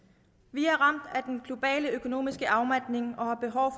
vi er ramt af den globale økonomiske afmatning og har behov